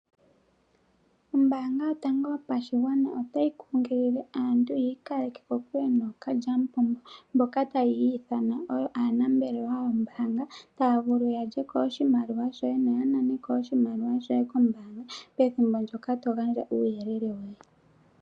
Ombaanga yotango yopashigwana ota yi kunkilile aantu ya ikaleke kokule nookalyamupombo mboka ta ya iyithana oyo aanambelewa yombaanga, taya vulu ya lye ko oshimaliwa shoye no ya nane ko oshimaliwa shoye kombaanga pethimbo ndoka to gandja uuyelele woye.